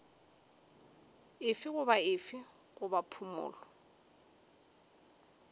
efe goba efe goba phumolo